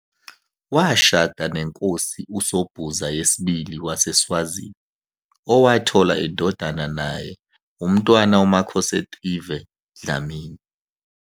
Washada neNkosi uSobhuza II waseSwazini, owathola indodana naye, uMntwana uMakhosetive Dlamini.